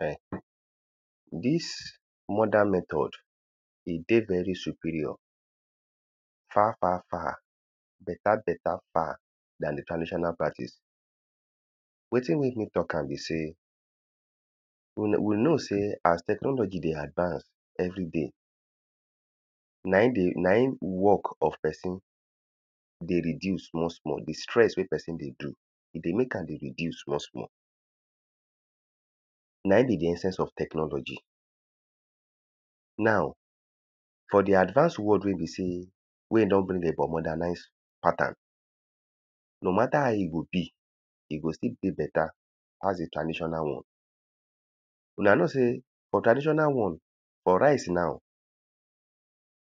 um dis modern method e dey very superior far far far better better far dan the traditional practice. Wetin make me talk am be sey, we we know sey as technology dey advance everyday na im dey, na im work of person dey reduce small small. The stress wey person dey do e dey make am dey reduce small small. Na im be the essence of technology. Now, for the advance world wey be sey wey e don go dey for modernize pattern. No matter how e go be e go stil dey better pass the traditional one. una know sey for traditional one, for rice now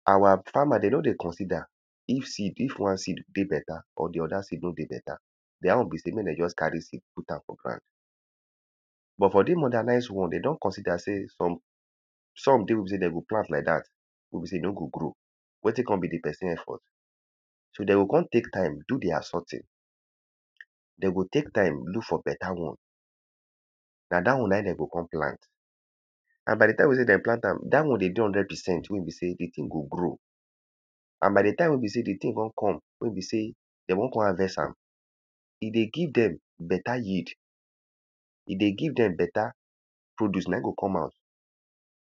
our farmer dey no dey consider if seed if one seed dey better or the other seed no dey better. Their own be sey make de just carry seed put am for ground. But for dis modernize one, de don consider say some some dey wey be sey de go plant like wey be sey de no go grow. Wetin con be the person effort? So, de o con take time do their sorting. De go take time look for better one. Na dat one na im de go con plant. And by the time wey be sey de plant am, dat one dey dey hundred percent wey be sey the thing go grow. And by time wey be sey the thing con come. Wey be sey de wan con havest am, e dey give dem better yield. E dey give dem better produce na im go come out.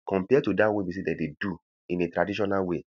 Compare to dat one wey be sey de dey do in a traditional way.